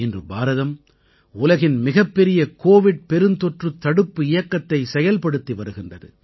இன்று பாரதம் உலகின் மிகப்பெரிய கோவிட் பெருந்தொற்றுத் தடுப்பு இயக்கத்தைச் செயல்படுத்தி வருகின்றது